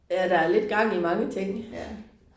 Ja der er lidt gang i mange ting